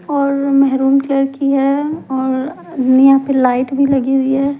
और maroon colour की है यहाँ पे लाइट भी लगी हुई है।